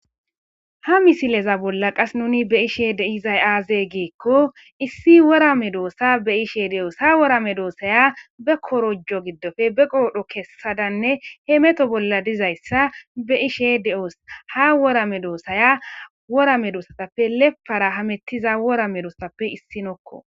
Ha misile bolla nuni be'ishe dizay aaze giiko issi wora medisa be'ishe doos. Ha wora medosaya be korojo giddope be qoodhe kessadanne hemeto bolla de'izaysa be'ishe de'oos. Ha wora medosaya leppara hemetiya wora medosatappe issinoko.